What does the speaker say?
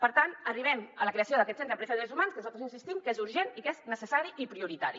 per tant arribem a la creació d’aquest centre d’empresa i drets humans que nosaltres insistim que és urgent i que és necessari i prioritari